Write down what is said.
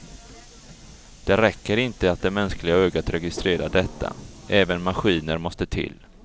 Det räcker inte att det mänskliga ögat registrerar detta, även maskiner måste till.